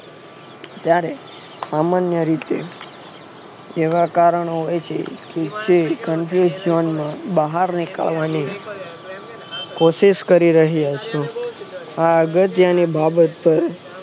ત્યારે સામાન્ય રીતે એવા કારણો હોય છે ક એ confront જોન માં બહાર નીકળવા ની કોશિસ કરી રહી હશ આ અગત્યની બાબત પર